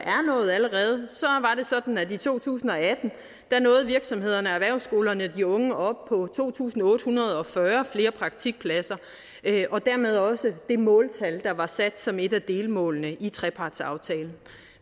sådan at i to tusind og atten nåede virksomhederne og erhvervsskolerne og de unge op på to tusind otte hundrede og fyrre flere praktikpladser og dermed også det måltal der var sat som et af delmålene i trepartsaftalen